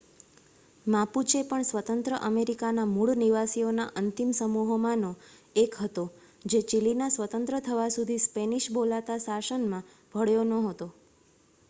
Mapuche પણ સ્વતંત્ર અમેરિકાના મૂળ નિવાસીઓના અંતિમ સમૂહોમાંનો એક હતો જે ચિલીના સ્વતંત્ર થવા સુધી સ્પેનિશ બોલાતા શાસનમાં ભળ્યો નહોતો